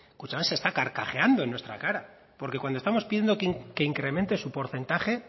kutxabank se está carcajeando en nuestra cara porque cuando estamos pidiendo que incremente su porcentaje